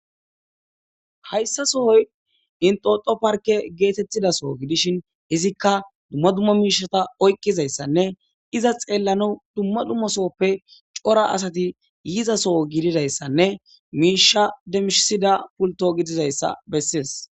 Hayisa sohoyi inxxoxo parikke getetiza Soho gidishini inxxoxo parikke getetiza Soho gidishini izikka dumma dumma mishata oyikkizayisanne iza xellanawu dumma dumma sohoppe cora asati yiza Soho gididayisanne mishsha demisiza pulitto gididayisa besesi